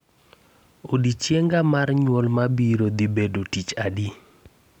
Odiechienga mar nyuol mabiro dhi bedo tich adi